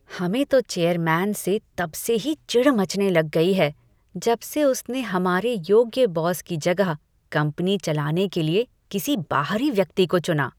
हमें तो चेयरमैन से तब से ही चिढ़ मचने लग गई है जब से उसने हमारे योग्य बॉस की जगह कंपनी चलाने के लिए किसी बाहरी व्यक्ति को चुना।